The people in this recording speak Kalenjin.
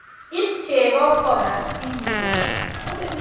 iib cheko siiro